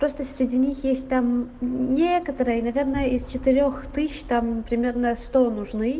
просто среди них есть там некоторые наверное из четырёх тысяч там примерно сто нужны